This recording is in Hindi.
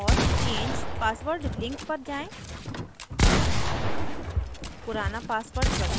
यूज़र profile और change password link पर जाएँ